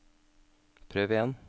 prøv igjen